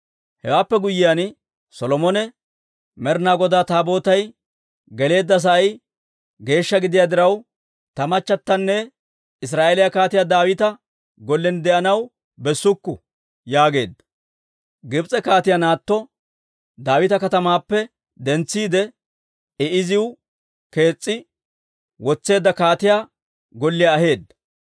Hewaappe guyyiyaan Solomone «Med'inaa Godaa Taabootay geleedda sa'ay geeshsha gidiyaa diraw, ta machatanne Israa'eeliyaa Kaatiyaa Daawita gollen de'anaw bessukku» yaageedda; Gibs'e kaatiyaa naatto Daawita Katamaappe dentsiide, I iziw kees's'i wotseedda kaatiyaa golliyaa aheedda.